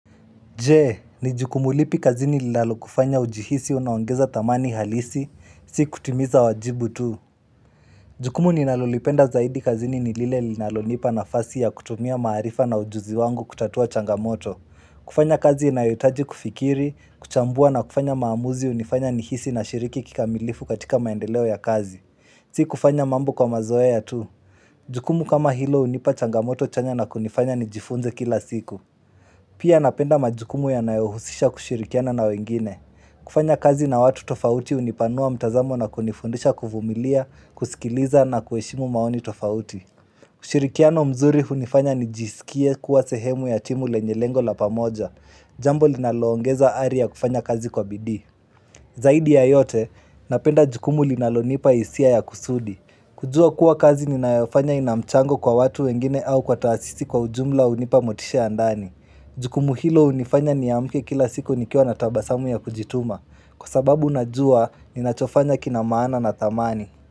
Jee, ni jukumu lipi kazini lilalo kufanya ujihisi unaongeza thamani halisi, sii kutimiza wajibu tu. Jee, ni jukumu lipi kazini lilalo kufanya ujihisi unaongeza thamani halisi, si kutimiza wajibu tu. Jukumu ninalolipenda zaidi kazini nilile linalonipa nafasi ya kutumia maarifa na ujuzi wangu kutatua changamoto. Si kufanya mambo kwa mazoea tu. Jukumu kama hilo unipa changamoto chanya na kunifanya nijifunze kila siku. Pia napenda majukumu yanayohusisha kushirikiana na wengine. Kufanya kazi na watu tofauti hunipanua mtazamo na kunifundisha kuvumilia, kusikiliza na kuheshimu maoni tofauti. Ushirikiano mzuri hunifanya nijisikie kuwa sehemu ya timu lenye lengo la pamoja. Jambo linaloongeza aria kufanya kazi kwa BD. Zaidi ya yote, napenda jukumu linalonipa hisia ya kusudi. Kujua kuwa kazi ninayofanya ina mchango kwa watu wengine au kwa taasisi kwa ujumla unipa motisha ya ndani. Jukumu hilo unifanya ni amke kila siku nikiwa na tabasamu ya kujituma. Kwa sababu najuaa ninachofanya kina maana na thamani.